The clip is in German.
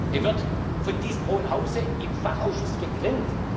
Er wird von diesem hohen Hause im Fachausschuss gegrillt.